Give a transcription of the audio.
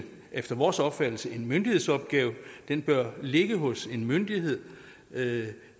efter vores opfattelse en myndighedsopgave og den bør ligge hos en myndighed da